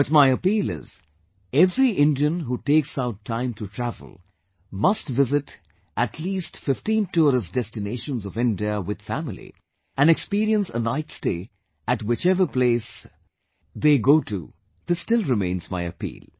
But my appeal is, that every Indian who takes out time to travel must visit at least 15 Tourist Destinations of India with family and experience a night stay at whichever place you go to; this still remains my appeal